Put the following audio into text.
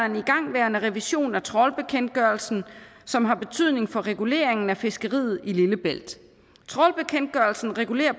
en igangværende revision af trawlbekendtgørelsen som har betydning for reguleringen af fiskeriet i lillebælt trawlbekendtgørelsen regulerer